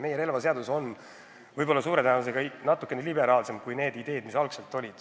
Meie relvaseadus on suure tõenäosusega natukene liberaalsem, kui on direktiivi ideed.